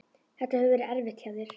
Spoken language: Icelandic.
Þetta hefur verið erfitt hjá þér?